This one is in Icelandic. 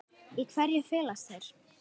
Í hverju felast þeir?